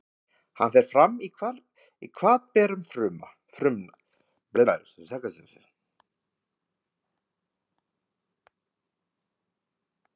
Hann fer fram í hvatberum frumna.